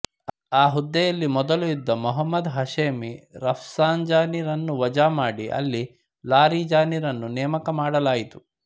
ಆ ಹುದ್ದೆಯಲ್ಲಿ ಮೊದಲು ಇದ್ದ ಮೊಹಮದ್ ಹಷೇಮಿ ರಫ್ಸಂಜಾನಿ ರನ್ನು ವಜಾ ಮಾಡಿ ಅಲಿ ಲಾರಿಜಾನಿರನ್ನು ನೇಮಕ ಮಾಡಲಾಯಿತು